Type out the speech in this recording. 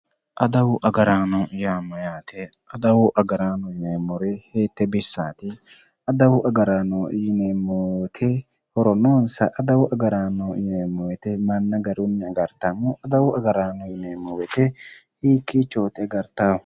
Adawu agarrano ,adawu agarrano yineemmori hiite bissati ,adawu agarrano yineemmori horo noonsa, adawu agarrano yineemmo woyte manna garunni agarittanno, adawu agarrano yineemmo woyte hiikkichoti agarrittanohu ?